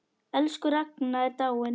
Elsku Ragna er dáin.